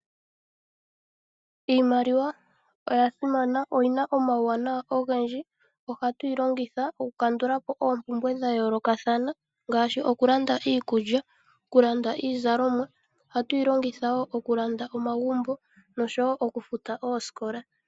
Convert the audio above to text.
Iimaliwa oya simana oyi na omauwanwa ogendji, oha tu yi longitha oku kandula po oompumbwe dhayoolokathana ngaashi oku landa iikulya, oku landa iizalomwa, oha tu yi longitha woo oku landa omagumbo, nosho woo oku futa oosikola.